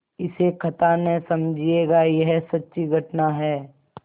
इसे कथा न समझिएगा यह सच्ची घटना है